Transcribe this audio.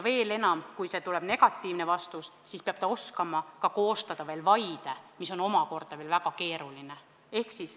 Veel enam, kui tuleb negatiivne vastus, siis peab lapsevanem oskama koostada ka vaiet, mis on omakorda väga keeruline.